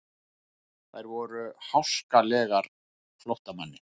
Þær voru háskalegar flóttamanni.